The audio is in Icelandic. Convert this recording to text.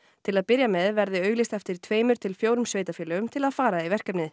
til að byrja með verði auglýst eftir tveimur til fjórum sveitarfélögum til að fara í verkefnið